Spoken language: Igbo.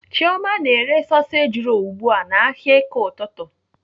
Chioma na-ere soseji rolu ugbu a n'ahịa eke ụtụtụ.